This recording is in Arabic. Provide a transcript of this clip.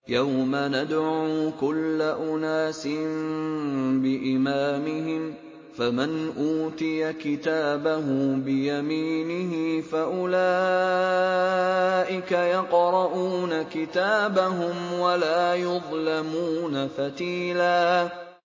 يَوْمَ نَدْعُو كُلَّ أُنَاسٍ بِإِمَامِهِمْ ۖ فَمَنْ أُوتِيَ كِتَابَهُ بِيَمِينِهِ فَأُولَٰئِكَ يَقْرَءُونَ كِتَابَهُمْ وَلَا يُظْلَمُونَ فَتِيلًا